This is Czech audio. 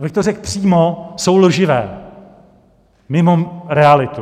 Abych to řekl přímo, jsou lživé, mimo realitu.